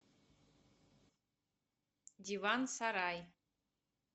диван сарай